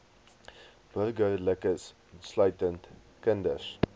burgerlikes insluitend kinders